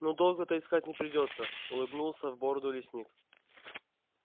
ну долго-то искать не придётся улыбнулся в бороду лесник